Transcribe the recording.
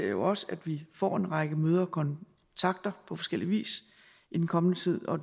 jo også at vi får en række møder og kontakter på forskellig vis i den kommende tid og